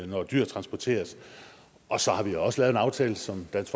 når dyr transporteres og så har vi også lavet en aftale som dansk